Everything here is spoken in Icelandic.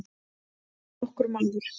Ekki nokkur maður.